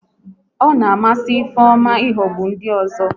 Ọ na amasị Ifeoma ihogbu ndị ọzọ